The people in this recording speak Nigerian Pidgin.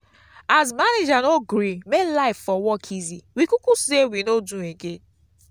as manager no gree make life for work easy we kuku sey we no do again.